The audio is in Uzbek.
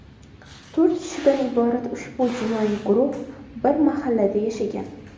To‘rt kishidan iborat ushbu jinoiy guruh bir mahallada yashagan.